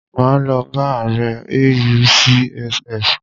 Máa lọ bá ààrẹ AUCSF.